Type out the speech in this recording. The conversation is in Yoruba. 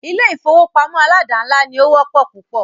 Ilé ìfọwọ́pamo aládàńlá ní o wọ́pọ̀ púpọ̀.